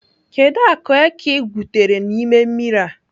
Kedụ akụ eke ị gwutere n'ime mmiri a?